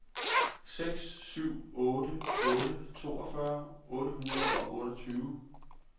seks syv otte otte toogfyrre otte hundrede og otteogtyve